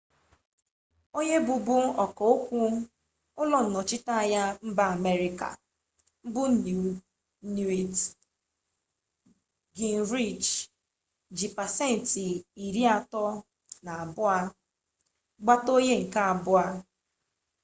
onye bụbu ọkaokwu ụlọnnọchiteanya mba amerịka bụ newt gingrich ji pasentị 32 gbata onye nke abụọ